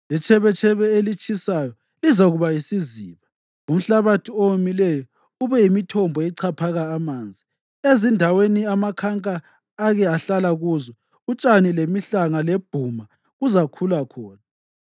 Itshebetshebe elitshisayo lizakuba yisiziba, umhlabathi owomileyo ube yimithombo echaphaka amanzi. Ezindaweni amakhanka ake ahlala kuzo, utshani lemihlanga lebhuma kuzakhula khona.